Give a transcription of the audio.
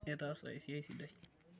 Itaasa esiai sidai.